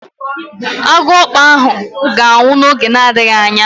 Agụọkpu ahụ ga-anwụ n'oge na-adịghị anya.